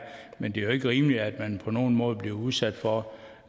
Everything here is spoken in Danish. men det er jo ikke rimeligt at man på nogen måde bliver udsat for